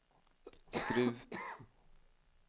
Skruv